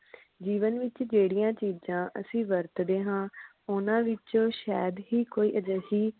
ਜੀਵਨ ਵਿਚ ਜਿਹੜੀਆਂ ਚੀਜਾਂ ਅਸੀਂ ਵਰਤਦੇ ਹਾਂ ਓਹਨਾ ਵਿਚ ਸਾਇਦ ਹੀ ਕੋਈ ਅਜਿਹੀ